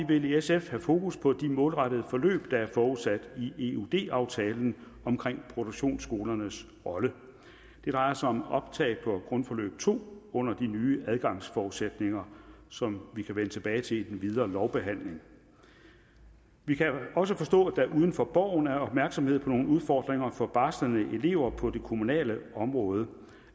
vil i sf have fokus på de målrettede forløb der er forudsat i eud aftalen om produktionsskolernes rolle det drejer sig om optag på grundforløb to under de nye adgangsforudsætninger som vi kan vende tilbage til i den videre lovbehandling vi kan også forstå at der uden for borgen er opmærksomhed på nogle udfordringer for barslende elever på det kommunale område